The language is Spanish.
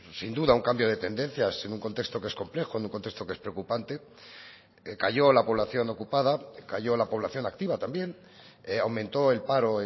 sin duda un cambio de tendencias en un contexto que es complejo en un contexto que es preocupante cayó la población ocupada cayó la población activa también aumentó el paro